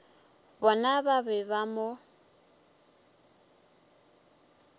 bona ba be ba mo